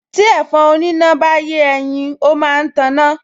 Tí ẹ̀fọn oníná bá yé ẹyin, ó máa ń taná